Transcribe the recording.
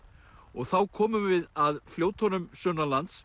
og þá komum við að fljótunum